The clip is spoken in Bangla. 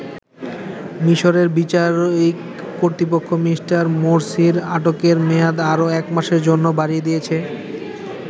মিশরের বিচারিক কর্তৃপক্ষ মি. মোরসির আটকের মেয়াদ আরো এক মাসের জন্য বাড়িয়ে দিয়েছে।